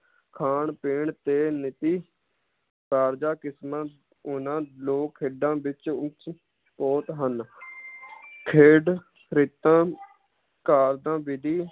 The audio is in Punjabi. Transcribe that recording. ਖਾਣ ਪੀਣ ਤੇ ਨਿਜੀ ਕਾਰਜਾਂ ਕਿਸਮਾਂ ਉਹਨਾਂ ਲੋਕ ਖੇਡਾਂ ਵਿਚ ਉੱਚ ਕੋਟ ਹਨ ਖੇਡ ਕਰੇਟਾਂ ਕਾਰਜਾਂ ਵਿਧੀ